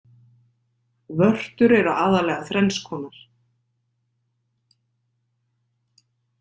Vörtur eru aðallega þrenns konar.